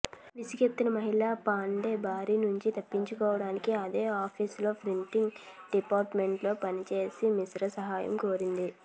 విసుగెత్తిన మహిళ పాండే బారి నుంచి తప్పించుకోవడానికి అదే ఆఫీసులో ప్రింటింగ్ డిపార్ట్మెంట్లో పనిచేసే మిశ్రా సహాయం కోరింది